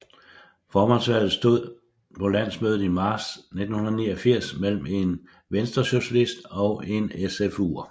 Formandsvalget stod på landsmødet i marts 1989 mellem en venstresocialist og en SFUer